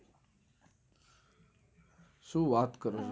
શું વાત કરો છો.